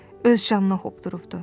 Öz canına hopdurubdur.